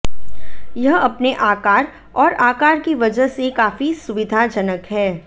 यह अपने आकार और आकार की वजह से काफी सुविधाजनक है